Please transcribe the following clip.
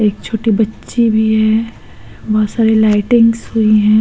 एक छोटी बच्ची भी है। बहोत सारी लइटिंग्स हुई हैं।